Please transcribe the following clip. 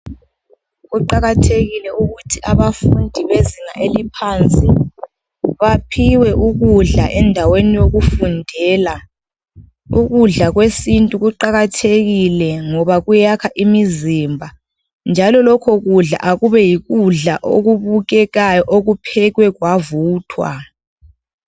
Kuqakathekile ukuthi abafundi bezinga eliphansi baphiwe ukudla endaweni yokufundela, ukudla kwesintu kuqakathekile ngoba kuyakha imizimba njalo lokho kudla akube yikudla okubukekayo okuphekwe kwavuthwa.